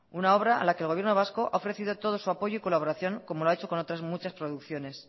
una obra a la que el gobierno vasco ha ofrecido todo su apoyo y colaboración como lo ha hecho con otras muchas producciones